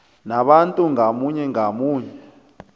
nabantu ngamunye ngamunye